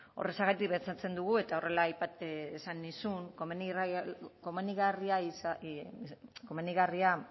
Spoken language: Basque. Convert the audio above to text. horrexegatik pentsatzen dugu eta horrela esan nizun komenigarria hitza komenigarria